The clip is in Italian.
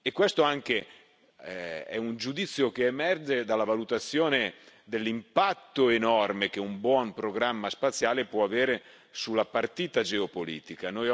Questo è un giudizio che emerge anche dalla valutazione dell'impatto enorme che un buon programma spaziale può avere sulla partita geopolitica.